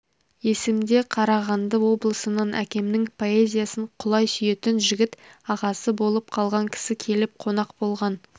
есімде қарағанды облысынан әкемнің поэзиясын құлай сүйетін жігіт ағасы болып қалған кісі келіп қонақ болған